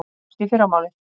Sjáumst í fyrramálið.